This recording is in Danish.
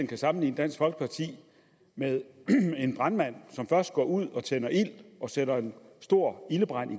kan sammenligne dansk folkeparti med en brandmand som først går ud og sætter en stor ildebrand i